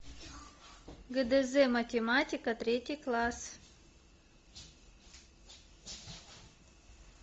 гдз математика третий класс